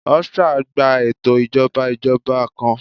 Austria gba eto ijọba ijọba ijọba kan